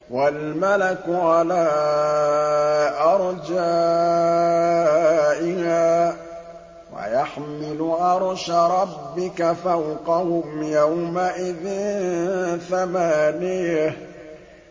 وَالْمَلَكُ عَلَىٰ أَرْجَائِهَا ۚ وَيَحْمِلُ عَرْشَ رَبِّكَ فَوْقَهُمْ يَوْمَئِذٍ ثَمَانِيَةٌ